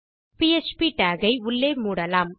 PHP tag ஐ உள்ளே மூடலாம்